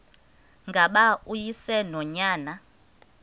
ngaba uyise nonyana